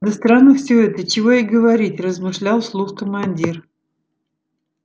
да странно все это чего и говорить размышлял вслух командир